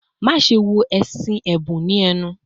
"Maṣe wo ẹṣin ẹbun ni ẹnu